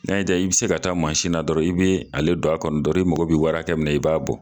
N'a y'i diya i bi se ka taa na dɔrɔn, i be ale don a kɔnɔ dɔrɔn, i mago be wari hakɛ min na, i b'a bɔ.